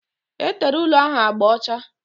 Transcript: Etere ụlọ ahụ agba ọcha